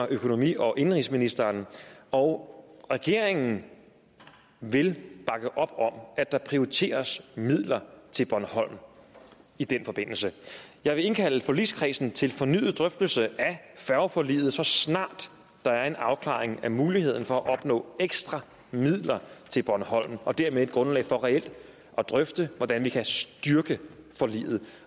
økonomi og indenrigsministeren og regeringen vil bakke op om at der prioriteres midler til bornholm i den forbindelse jeg vil indkalde forligskredsen til en fornyet drøftelse af færgeforliget så snart der er en afklaring af muligheden for at opnå ekstra midler til bornholm og dermed et grundlag for reelt at drøfte hvordan vi kan styrke forliget